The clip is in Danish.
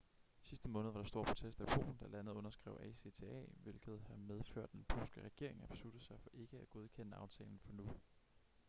sidste måned var der store protester i polen da landet underskrev acta hvilket har medført at den polske regering har besluttet sig for ikke at godkende aftalen for nu